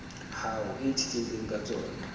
hao e itshetlehileng ka tsona